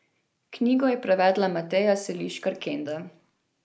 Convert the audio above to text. Knjigo je prevedla Mateja Seliškar Kenda.